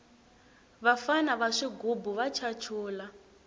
vafana va swigubu va chachula